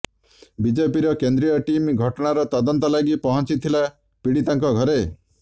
ବିଜେପିର କେନ୍ଦ୍ରୀୟ ଟିମ୍ ଘଟଣାର ତଦନ୍ତ ଲାଗି ପହଞ୍ଚିଥିଲା ପିଡିତାଙ୍କ ଘରେ